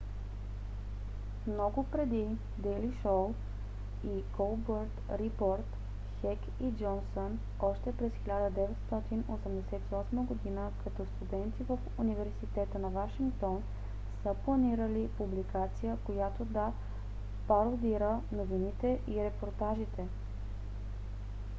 много преди дейли шоу и колбърт рипорт хек и джонсън още през 1988 г. като студенти в университета на вашингтон са планирали публикация която да пародира новините и репортажите